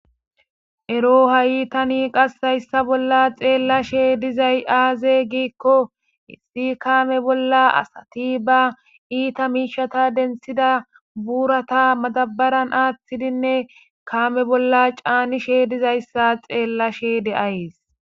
Ero ha7itani qassayssa bolla xeellashe dizay aaze giikko issi kaame bolla asati ba iita miishata dentsida buurata matabaran aathtidinne kaame bolla caanishe dizayssa xeellashey de7ayys.